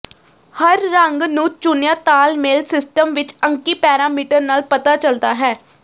ਹਰ ਰੰਗ ਨੂੰ ਚੁਣਿਆ ਤਾਲਮੇਲ ਸਿਸਟਮ ਵਿੱਚ ਅੰਕੀ ਪੈਰਾਮੀਟਰ ਨਾਲ ਪਤਾ ਚੱਲਦਾ ਹੈ